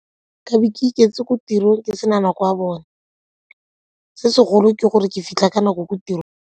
Nka be ke iketse ko tirong ke sena nako ya bone, se segolo ke gore ke fitlha ka nako ko tirong.